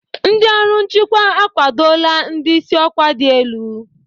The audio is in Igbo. Ndị ọrụ nchịkwa akwadola ndị isi ọkwa dị elu.